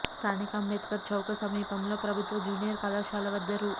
స్థానిక అంబేద్కర్ చౌక సమీపంలో ప్రభుత్వ జూనియర్ కళాశాల వద్ద రూ